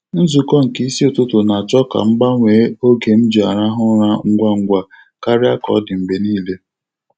Nzukọ nke isi ụtụtụ na-acho ka m gbanwee oge m ji arahụ ụra ngwa ngwa karia ka ọ dị mgbe niile.